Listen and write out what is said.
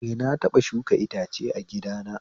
Eh, na taɓa shuka itace a gidana